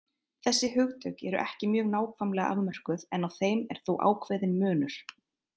Þessi hugtök eru ekki mjög nákvæmlega afmörkuð en á þeim er þó ákveðinn munur.